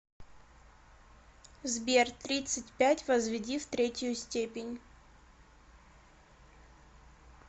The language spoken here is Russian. сбер тридцать пять возведи в третью степень